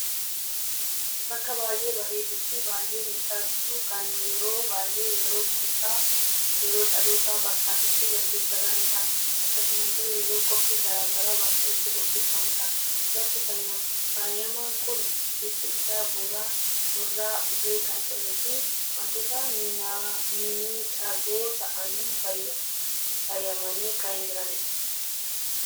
Bakka baay'ee bareeduu fi baay'ee midhaguu kan yeroo baay'ee yeroo cidha, guyyaa dhaloota bakka itti geggeeffatanidha. Akkasumallee yeroo qophii garagaraa bakka itti geggeeeffamudha. Bakki faayama kun bifti isa burraa, burree kan ta'ee fi wantoota mimmidhagoo ta'aaniin faayamaani kan jiranidha.